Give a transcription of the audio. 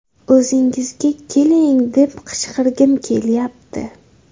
O‘zingizga keling, deb qichqirgim kelyapti!